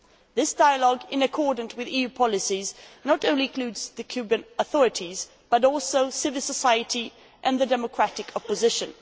This dialogue, in accordance with EU policies, not only includes the Cuban authorities but also civil society and the democratic opposition.